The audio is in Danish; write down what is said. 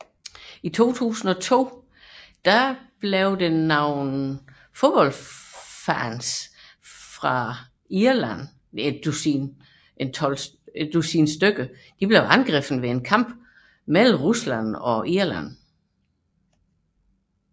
I 2002 blev et dusin irske fodboldfans angrebet ved en kamp mellem Rusland og Irland